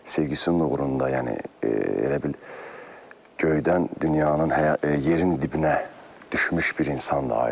Sevginin uğrunda, yəni elə bil göydən dünyanın yerin dibinə düşmüş bir insandır Aydın.